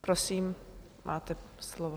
Prosím, máte slovo.